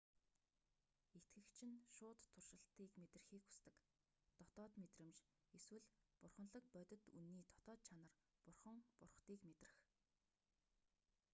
итгэгч нь шууд туршалтыг мэдрэхийг хүсдэг дотоод мэдрэмж эсвэл бурханлаг бодит үнэний дотоод чанар бурхан бурхадыг мэдрэх